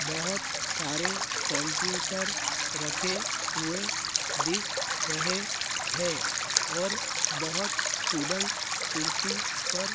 बोहोत सारे कॉम्प्युटर रखें हुए दिख रहें हैं और बहोत स्टूडंट कुर्सी पर --